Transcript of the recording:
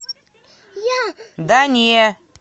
да не